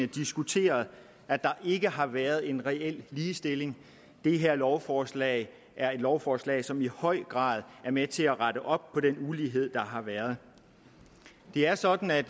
diskuteret at der ikke har været en reel ligestilling det her lovforslag er et lovforslag som i høj grad er med til at rette op på den ulighed der har været det er sådan at